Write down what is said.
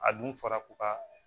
A dun fɔra ko ka